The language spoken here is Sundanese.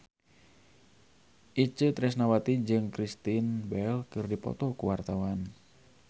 Itje Tresnawati jeung Kristen Bell keur dipoto ku wartawan